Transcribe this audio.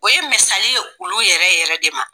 O ye misali ye olu yɛrɛ yɛrɛ de ma